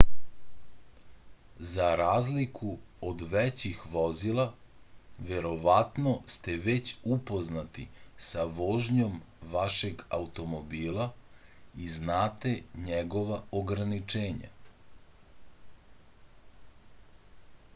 za razliku od većih vozila verovatno ste već upoznati sa vožnjom vašeg automobila i znate njegova ograničenja